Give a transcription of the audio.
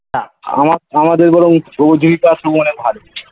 আমা আমাদের বরং . ভালো